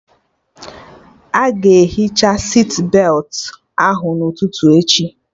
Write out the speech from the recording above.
Aga ehicha sitbetị ahụ n'ụtụtụ echi